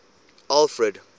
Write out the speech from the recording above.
alfred